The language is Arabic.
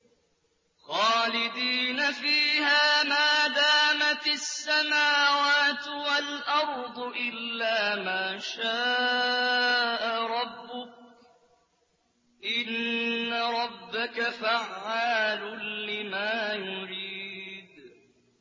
خَالِدِينَ فِيهَا مَا دَامَتِ السَّمَاوَاتُ وَالْأَرْضُ إِلَّا مَا شَاءَ رَبُّكَ ۚ إِنَّ رَبَّكَ فَعَّالٌ لِّمَا يُرِيدُ